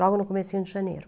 Logo no comecinho de Janeiro.